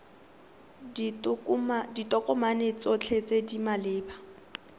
ditokomane tsotlhe tse di maleba